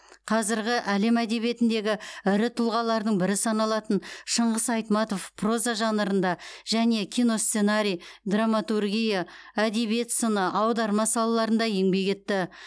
қазіргі әлем әдебиетіндегі ірі тұлғалардың бірі саналатын шыңғыс айтматов проза жанрында және киносценарий драматургия әдебиет сыны аударма салаларында еңбек етті